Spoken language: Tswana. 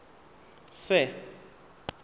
sir